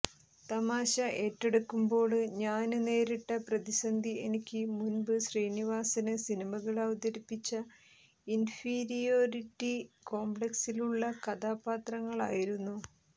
തമാശ ഏറ്റെടുക്കുമ്പോള് ഞാന് നേരിട്ട പ്രതിസന്ധി എനിക്ക് മുന്പ് ശ്രീനിവാസന് സിനിമകള് അവതരിപ്പിച്ച ഇന്ഫീരിയോറിറ്റി കോംപല്ക്സുള്ള കഥാപാത്രങ്ങളായിരുന്നു